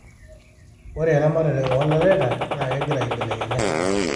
ore eramatare oo laleta naa kegira aibelekenya